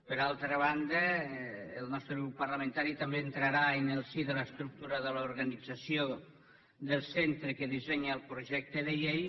per altra banda el nostre grup parlamentari també entrarà en el si de l’estructura de l’organització del centre que dissenya el projecte de llei